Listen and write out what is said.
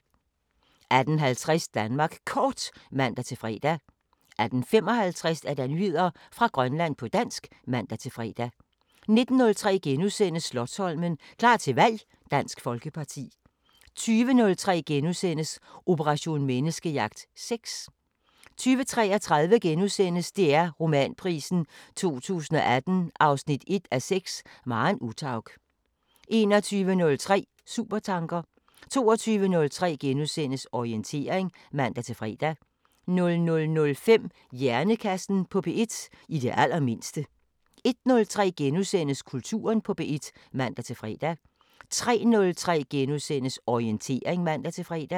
18:50: Danmark Kort (man-fre) 18:55: Nyheder fra Grønland på dansk (man-fre) 19:03: Slotsholmen – klar til valg: Dansk Folkeparti * 20:03: Operation Menneskejagt: Sex * 20:33: DR Romanprisen 2018 1:6 – Maren Uthaug * 21:03: Supertanker 22:03: Orientering *(man-fre) 00:05: Hjernekassen på P1: I det allermindste 01:03: Kulturen på P1 *(man-fre) 03:03: Orientering *(man-fre)